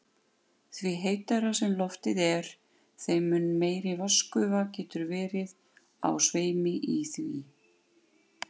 Því heitara sem loftið er, þeim mun meiri vatnsgufa getur verið á sveimi í því.